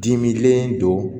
Dimilen don